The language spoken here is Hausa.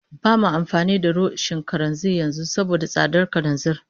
Ba ma amfani da rishon kananzir yanzu saboda tsadar kananzir